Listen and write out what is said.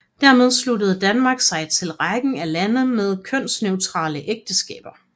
Dermed sluttede Danmark sig til rækken af lande med kønsneutrale ægteskaber